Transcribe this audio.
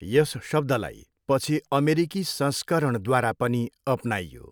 यस शब्दलाई पछि अमेरिकी संस्करणद्वारा पनि अपनाइयो।